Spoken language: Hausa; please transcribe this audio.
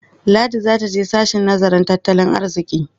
Ladi za ta je sashen nazarin tattalin arziƙi.